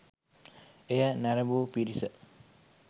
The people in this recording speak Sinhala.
එය නැරඹූ පිරිස